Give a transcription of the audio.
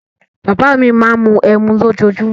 Bàbá à mi máa ń mu ẹmu lójoojúmó.